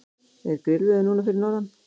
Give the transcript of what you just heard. er grillveður núna fyrir norðan